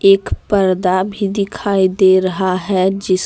एक पर्दा भी दिखाई दे रहा है जिस--